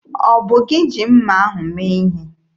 Ọ bụ gị ji mma ahụ mee ihe?